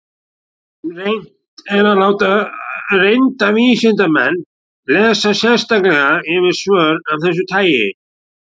Reynt er að láta reynda vísindamenn lesa sérstaklega yfir svör af þessu tagi.